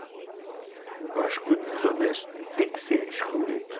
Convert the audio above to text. Eu acho que o desonesto tem que ser excluído.